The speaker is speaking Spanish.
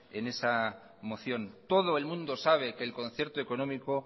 en esa moción todo el mundo sabe que el concierto económico